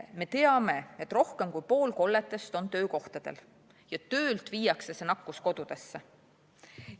Me teame, et rohkem kui pool kolletest on töökohtadel ja töölt viiakse see nakkus kodudesse.